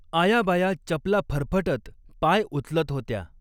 आया बाया चपला फरफटत पाय उचलत होत्या.